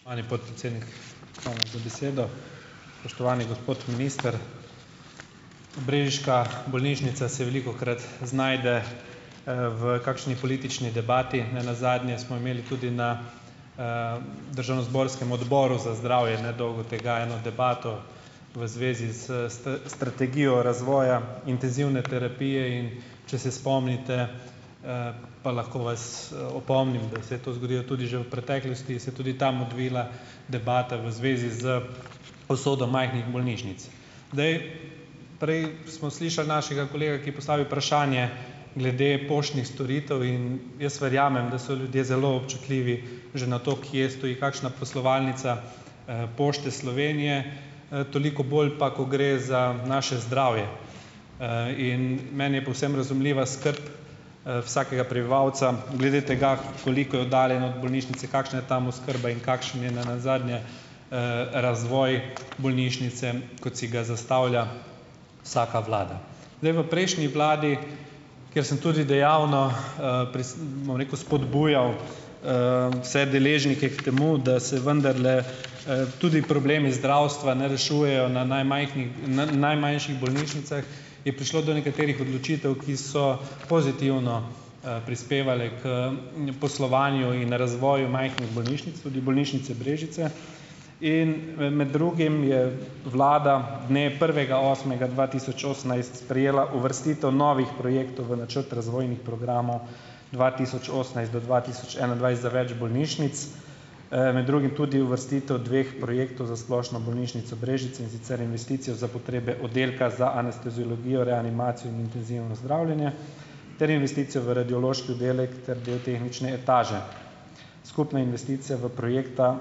Spoštovani podpredsednik, hvala za besedo. Spoštovani gospod minister. Brežiška bolnišnica se velikokrat znajde, v kakšni politični debati. Ne nazadnje smo imeli tudi na, državnozborskem Odboru za zdravje nedolgo tega eno debato, v zvezi s strategijo razvoja intenzivne terapije, in če se spomnite, pa lahko vas, opomnim, da se je to zgodilo tudi že v preteklosti, se je tudi tam odvila debata, v zvezi z usodo majhnih bolnišnic. Zdaj, prej smo slišali našega kolega, ki je postavil vprašanje glede poštnih storitev, in jaz verjamem, da so ljudje zelo občutljivi že na to, kje stoji kakšna poslovalnica, Pošte Slovenije, toliko bolj pa, ko gre za naše zdravje, in meni je povsem razumljiva skrb, vsakega prebivalca, glede tega, koliko je oddaljen od bolnišnice, kakšna je tam oskrba in kakšen je ne nazadnje, razvoj bolnišnice, kot si ga zastavlja vsaka vlada. Zdaj v prejšnji vladi, kjer sem tudi dejavno, bom rekel, spodbujal, vse deležnike k temu, da se vendarle, tudi problemi zdravstva ne rešujejo na najmajhnih najmanjših bolnišnicah, je prišlo do nekaterih odločitev, ki so pozitivno, prispevale k, poslovanju in razvoju majhnih bolnišnic - tudi bolnišnice Brežice - in med drugim je vlada, dne prvega osmega dva tisoč osemnajst sprejela uvrstitev novih projektov v načrt razvojnih programov dva tisoč osemnajst do dva tisoč enaindvajset za več bolnišnic, med drugim tudi uvrstitev dveh projektov za Splošno bolnišnico Brežice, in sicer investicijo za potrebe oddelka za anesteziologijo, reanimacijo in intenzivno zdravljenje ter investicijo v radiološki oddelek ter del tehnične etaže. Skupna investicija v projekta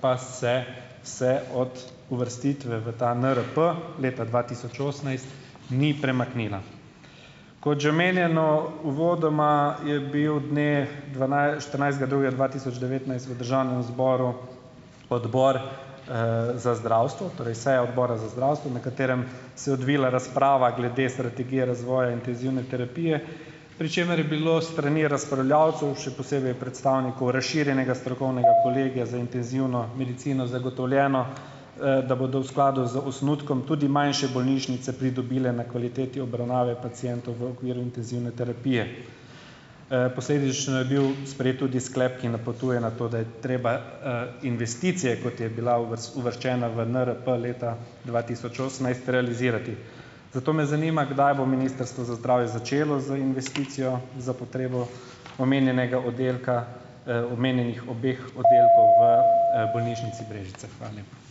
pa se se od uvrstitve v ta NRP leta dva tisoč osemnajst ni premaknila. Kot že omenjeno uvodoma, je bil dne štirinajstega drugega dva tisoč devetnajst v državnem zboru Odbor, za zdravstvo, torej seja Odbora za zdravstvo, na katerem se je odvila razprava glede strategije razvoja intenzivne terapije, pri čemer je bilo s strani razpravljavcev, še posebej predstavnikov razširjenega strokovnega kolegija za intenzivno medicino zagotovljeno, da bodo v skladu z osnutkom tudi manjše bolnišnice pridobile na kvaliteti obravnave pacientov v okviru intenzivne terapije. Posledično je bil sprejet tudi sklep, ki napotuje na to, da je treba, investicije, kot je bila uvrščena v NRP leta dva tisoč osemnajst, realizirati. Zato me zanima, kdaj bo Ministrstvo za zdravje začelo z investicijo za potrebo omenjenega oddelka, omenjenih obeh oddelkov v, bolnišnici Brežice? Hvala lepa.